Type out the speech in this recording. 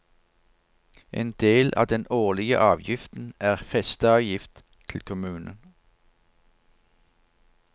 En del av den årlige avgiften er festeavgift til kommunen.